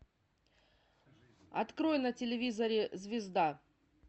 открой на телевизоре звезда